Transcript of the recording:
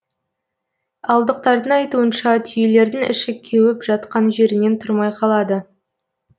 ауылдықтардың айтуынша түйелердің іші кеуіп жатқан жерінен тұрмай қалады